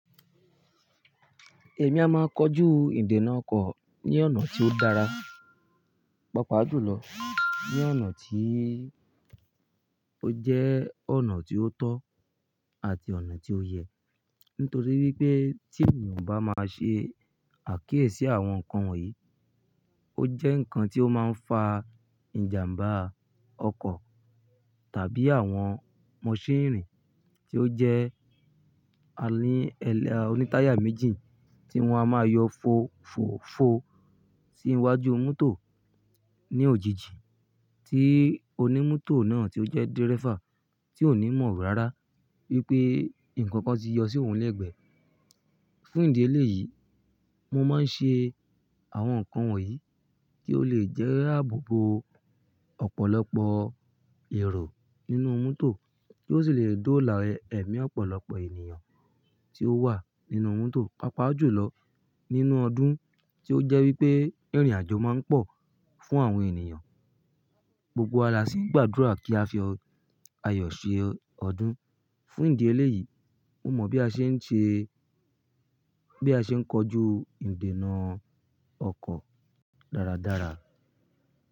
Èmi a máa kojú ìdènà ọkọ̀ ní ọ̀nà tí ó dára, papa ju lọ ní ọ̀nà tí ó jẹ́ ọ̀nà tí ó tọ́ àti ọ̀nà tí ó yẹ. Nítorí wípé tí ènìyàn bá máa ṣe àkíyèsí àwọn nǹkan wọ̀nyí, ó jẹ́ nǹkan tí ó máa ń fa ìjàmbá ọkọ̀ tàbí àwọn mọṣínìrì tí ó jẹ́ oní táyà méjì tí wọ́n a máa yọ fò, fò, fò sí iwájú mọ́tò ní òjijì tí onímọ́tò náà tí ó jẹ́ dírẹ́fà tí ò ní mọ̀ rárá wípé ǹkan kan ti yọ sí òun lẹ́gbẹ̀ẹ́. Fún ìdí eléyìí, mo máa ń ṣe àwọn nǹkan wọ̀nyí kí ó lè jẹ́ àbò bo ọ̀pọ̀lọpọ̀ èrò nínú mọ́tò kí ó sì lè dóòlà ẹ̀mí ọ̀pọ̀lọpọ̀ ènìyàn tí ó wà nínú mọ́tò papa julọ nínú ọdún tí ó jẹ́ wípé ìrìnàjò máa ń pọ̀ fún àwọn ènìyàn. Gbogbo wa la ṣì ń gbàdúrà kí a fi ayọ̀ ṣe ọdún. Fún ìdí eléyìí, mo mọ̀ bí a ṣe ń ṣe, bí a ṣe ń kojú ìdènà ọkọ̀ dáradára.